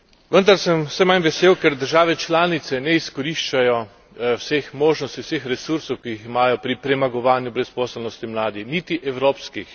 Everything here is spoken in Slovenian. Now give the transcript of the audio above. Vendar sem vse manj vesel, ker države članice ne izkoriščajo vseh možnosti, vseh resursov, ki jih imajo pri premagovanju brezposelnosti mladih niti evropskih.